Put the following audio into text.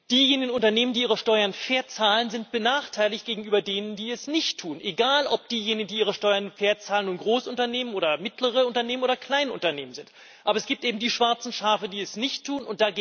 Diejenigen Unternehmen, die ihre Steuern fair zahlen, sind benachteiligt gegenüber denen, die es nicht tun egal, ob diejenigen, die ihre Steuern fair zahlen, nun Großunternehmen oder mittlere Unternehmen oder Kleinunternehmen sind. Aber es gibt eben die schwarzen Schafe, die es nicht tun.